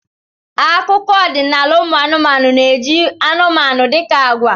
Akụkọ ọdịnala ụmụ anụmanụ na-eji anụmanụ dị ka agwa.